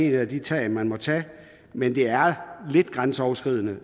et af de tiltag man må tage men det er lidt grænseoverskridende